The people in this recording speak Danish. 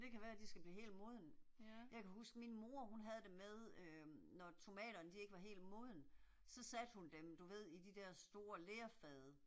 Det kan være de skal blive helt modne. Jeg kan huske min mor hun havde det med øh, når tomaterne de ikke var helt modne, så satte hun dem du ved i de der store lerfade